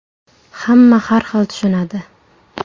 Hamma har xil tushunadi.